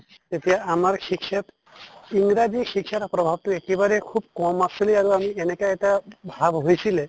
তেতিয়া আমাৰ শিক্ষাত ইংৰাজী শিক্ষাৰ প্ৰভাৱতো একেবাৰে খুব কম আছিলে আৰু আমি এনেকা এটা ভাব হৈছিলে